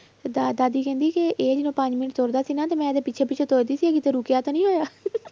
ਤੇ ਦਾ~ ਦਾਦੀ ਕਹਿੰਦੀ ਕਿ ਇਹ ਜਦੋਂ ਪੰਜ ਮਿੰਟ ਤੁਰਦਾ ਸੀ ਨਾ ਤੇ ਮੈਂ ਇਹਦੇ ਪਿੱਛੇ ਪਿੱਛੇ ਤੁਰਦੀ ਸੀ ਕਿਤੇ ਰੁੱਕਿਆ ਤਾਂ ਨੀ ਹੋਇਆ